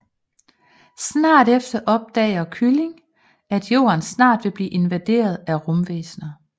Snart efter opdager kylling at jorden snart vil blive invaderet af rumvæsner